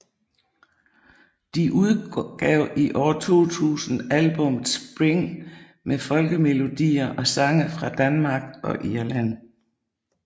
De udgav i år 2000 albummet Spring med folkemelodier og sange fra Danmark og Irland